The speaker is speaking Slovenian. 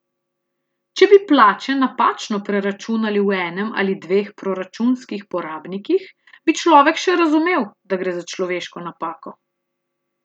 Če bi plače napačno preračunali v enem ali dveh proračunskih porabnikih, bi človek še razumel, da gre za človeško napako.